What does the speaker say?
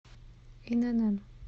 инн